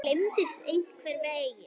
Gleymdist einhvern veginn.